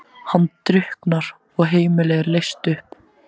Hann drukknar og heimilið er leyst upp.